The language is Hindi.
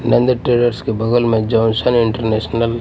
नंद ट्रेडर्स के बगल में जॉनसन इंटरनेशनल --